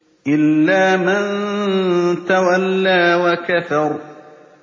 إِلَّا مَن تَوَلَّىٰ وَكَفَرَ